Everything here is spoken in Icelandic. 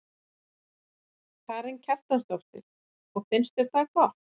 Karen Kjartansdóttir: Og finnst þér það gott?